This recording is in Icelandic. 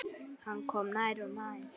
Hann kom nær og nær.